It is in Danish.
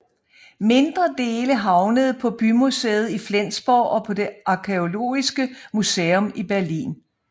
Mindre dele havnede pa bymuseet i Flensborg og på det arkæeologiske museum i Berlin